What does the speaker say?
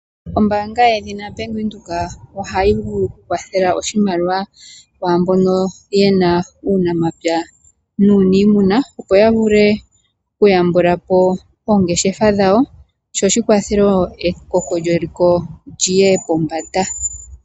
Ombaanga yedhina Bank Windhoek ohayi vulu okukwathela oshimaliwa kwaambono yena uunamapya nuuniimuna opo ya vule okuyambula po oongeshefa dhawo, sho shi kwathele wo ekoko lyeliko lyiye pombanda.